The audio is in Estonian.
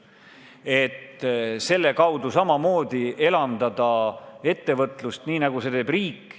Selle abil saab ettevõtlust samamoodi elavdada, nii nagu seda teeb riik.